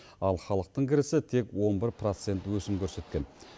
ал халықтың кірісі тек он бір процент өсім көрсеткен